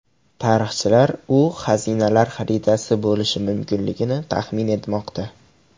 Tarixchilar u xazinalar xaritasi bo‘lishi mumkinligini taxmin etmoqda.